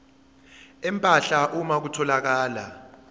empahla uma kutholakala